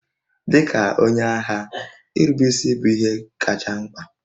Dị ka onye agha, nrubeisi bụ ihe kacha mkpa